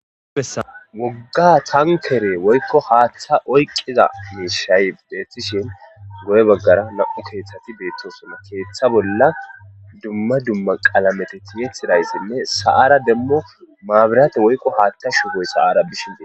Wooga tankere woykko haththa oyqiza mishsha beththishin goye bagara namu' kethathati betosona keththa bills duma duma qalametti tiyetidaysi nne saa'ra demo mabirate woykko hatha shuboy bizaysi bettes.